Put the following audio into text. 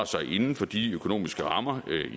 sig inden for de økonomiske rammer